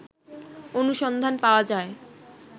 অনুসন্ধান পাওয়া যায়